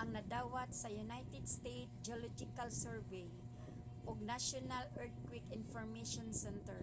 ang nadawat sa united states geological survey usgs ug national earthquake information center